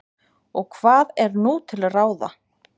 og hvað er nú til ráða